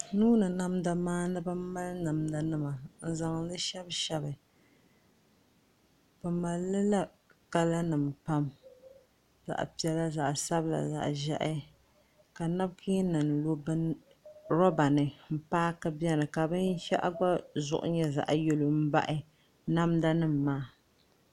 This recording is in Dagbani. Nuuni namda maandibi n mali namda nima n zaŋli shɛbi shɛbi bi malila kala nim pam zaɣ piɛla zaɣ sabila ni zaɣ ʒiɛhi ka nabkiin nim lo roba ni n paaki biɛni ka binshaɣu gba zuɣu nyɛ zaɣ yɛlo n baɣa namda nim maa